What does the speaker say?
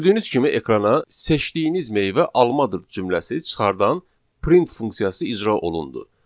Gördüyünüz kimi ekrana 'seçdiyiniz meyvə almadır' cümləsi çıxardan print funksiyası icra olundu.